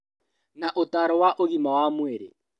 Na ũtaaro wa ũgima wa mwĩrĩ